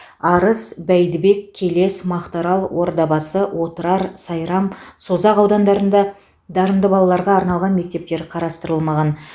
арыс бәйдібек келес мақтаарал ордабасы отырар сайрам созақ аудандарында дарынды балаларға арналған мектептер қарастырылмаған